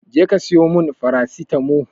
Je ka siyo mun farasitamo